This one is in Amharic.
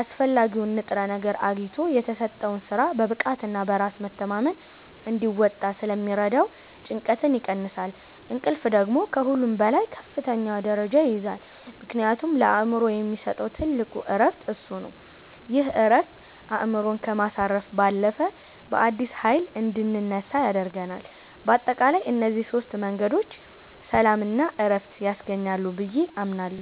አስፈላጊውን ንጥረ ነገር አግኝቶ የተሰጠውን ሥራ በብቃትና በራስ መተማመን እንዲወጣ ስለሚረዳው ጭንቀትን ይቀንሳል። እንቅልፍ ደግሞ ከሁሉም በላይ ከፍተኛውን ደረጃ ይይዛል፤ ምክንያቱም ለአእምሮ የሚሰጠው ትልቁ ዕረፍት እሱ ነው። ይህ ዕረፍት አእምሮን ከማሳረፍ ባለፈ፣ በአዲስ ኃይል እንድንነሳ ያደርገናል። በአጠቃላይ እነዚህ ሦስት መንገዶች ሰላምና ዕረፍት ያስገኛሉ ብዬ አምናለሁ።